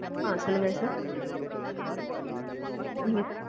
அஹ் சொல்லுங்க sir நீங்க